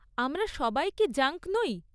আমরা সবাই কি জাঙ্ক নই?